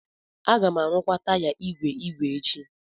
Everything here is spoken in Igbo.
Aga m arụkwa taya ígwè ígwè echi.